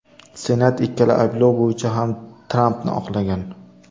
Senat ikkala ayblov bo‘yicha ham Trampni oqlagan .